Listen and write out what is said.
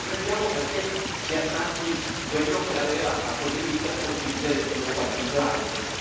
Allora comprendiamo perché si attacchi chi ha contribuito a sconfiggere lo Stato islamico.